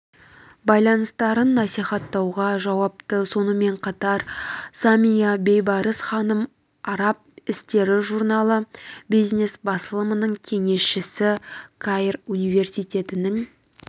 байланыстарын насихаттауға жауапты сонымен қатар самия бейбарыс ханым араб істері журналы бизнес-басылымының кеңесшісі каир университетінің